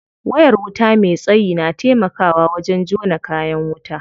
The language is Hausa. Wayar wuta me tsayi na taimakawa wajen jona kayan wuta.